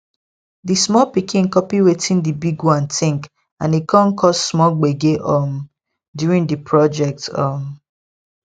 di small pikin copy wetin di big one think and e come cause small gbege um during the project um